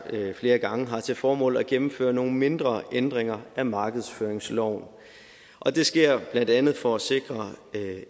flere gange har til formål at gennemføre nogle mindre ændringer af markedsføringsloven og det sker blandt andet for at sikre